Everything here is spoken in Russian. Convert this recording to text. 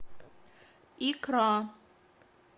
икра